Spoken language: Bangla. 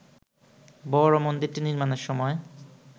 বড় মন্দিরটি নির্মাণের সময়